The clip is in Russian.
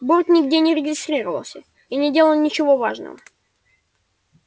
борт нигде не регистрировался и не делал ничего важного